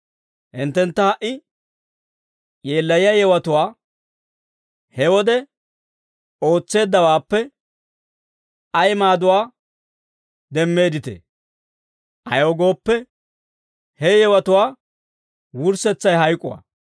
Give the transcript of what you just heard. Hinttentta ha"i yeellayiyaa yewatuwaa he wode ootseeddawaappe ay maaduwaa demmeedditee? Ayaw gooppe, he yewatuwaa wurssetsay hayk'uwaa.